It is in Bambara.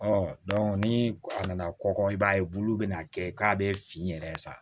ni a nana kɔkɔ i b'a ye bulu bɛ na kɛ k'a bɛ fin yɛrɛ sa